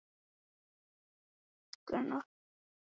Sigríður: Svona snemma bara?